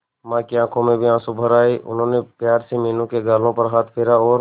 मां की आंखों में भी आंसू भर आए उन्होंने प्यार से मीनू के गालों पर हाथ फेरा और